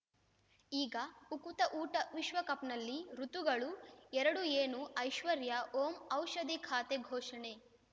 ಈಗ ಉಕುತ ಊಟ ವಿಶ್ವಕಪ್‌ನಲ್ಲಿ ಋತುಗಳು ಎರಡು ಏನು ಐಶ್ವರ್ಯಾ ಓಂ ಔಷಧಿ ಖಾತೆ ಘೋಷಣೆ